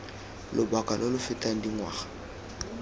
lobaka lo lo fetang dingwaga